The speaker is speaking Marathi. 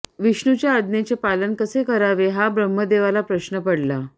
विष्णूच्या आज्ञेचे पालन कसे करावे हा ब्रह्मदेवाला प्रश्न पडला